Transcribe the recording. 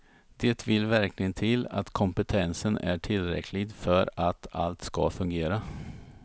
Det vill verkligen till att kompetensen är tillräcklig för att allt ska fungera.